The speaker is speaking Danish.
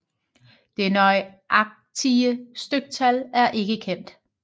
Det nøjagtige styktal er ikke kendt